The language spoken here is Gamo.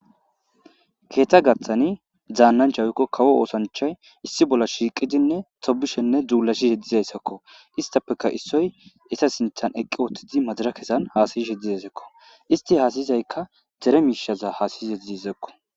keetha gaththani zaannanchawoykko kawo oosanchay issi bolla shiiqidinne tobishenne dzuulashise dizayssakko istappeka issoy esa sinthan eqqi oottidi madara kesan haasayi shedizayssakko isti haasayizaykka dere miishaza haasayizedizisakko